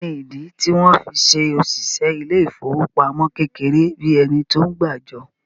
Kí ni ìdí tí wọ́n fí se òṣìṣẹ́ ilé ìfowópamọ́ kékeré bíi ẹni tí ó ń gbàjọ?